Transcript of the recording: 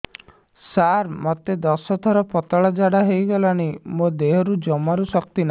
ସାର ମୋତେ ଦଶ ଥର ପତଳା ଝାଡା ହେଇଗଲାଣି ମୋ ଦେହରେ ଜମାରୁ ଶକ୍ତି ନାହିଁ